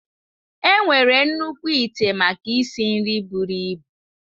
Enwere nnukwu ite maka isi nri buru ibu.